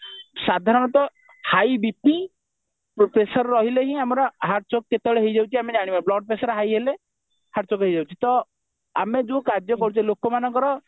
ସାଧାରଣତଃ high BP pressure ରହିଲେ ହିଁ ଆମର heart chock କେତେବେଳେ ହେଇଯାଉଛି ଆମେ ଜାଣିପାରୁନୁ blood pressure high ରହିଲେ heart choke ହେଇଯାଉଛି ତ ଆମେ ଯୋଉ କାର୍ଯ କରୁଛେ ଲୋକମାନଙ୍କର